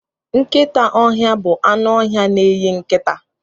Nkịta ọhịa bụ anụ ọhịa na-eyi nkịta.